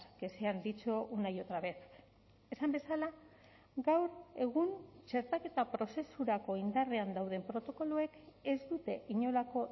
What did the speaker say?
que se han dicho una y otra vez esan bezala gaur egun txertaketa prozesurako indarrean dauden protokoloek ez dute inolako